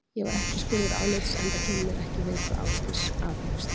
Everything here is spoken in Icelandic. Ég var ekki spurður álits, enda kemur mér ekki við hvað Ásdís aðhefst.